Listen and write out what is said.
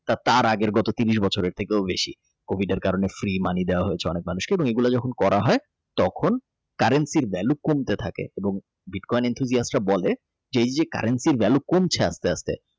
তার আগেরও ত্রিশ বছর থেকেও বেশি COVID এর কারণে freeMoney দেওয়া হয়েছে অনেক মানুষকে এবং এগুলো যখন করা হয় তখন currency ভ্যালু কমতে থাকে এবং বিটকয়েন Interior বলে এই যে currency ভ্যালু কমছে আস্তে আস্তে।